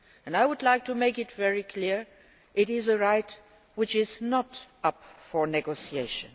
I would like to make it very clear it is a right which is not up for negotiation.